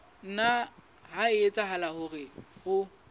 nna ha etsahala hore o